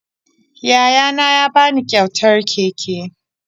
Yayana ya ba ni kyautar keke